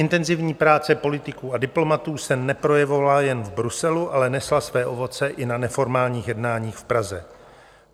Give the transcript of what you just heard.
Intenzivní práce politiků a diplomatů se neprojevovala jen v Bruselu, ale nesla své ovoce i na neformálních jednáních v Praze.